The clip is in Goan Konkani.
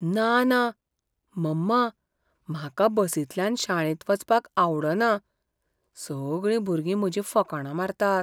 ना ना! मम्मा, म्हाका बसींतल्यान शाळेंत वचपाक आवडना. सगळीं भुरगीं म्हजी फकाणां मारतात.